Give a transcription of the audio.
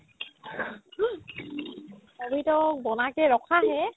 abhi tak বানা ke ৰাখা hai